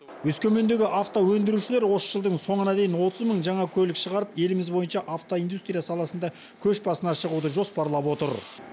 өскемендегі автоөндірушілер осы жылдың соңына дейін отыз мың жаңа көлік шығарып еліміз бойынша автоиндустрия саласында көш басына шығуды жоспарлап отыр